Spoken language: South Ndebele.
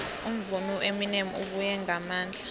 umvumi ueminem ubuye ngamandla